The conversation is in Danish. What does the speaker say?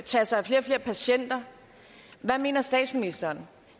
tage sig af flere og flere patienter hvad mener statsministeren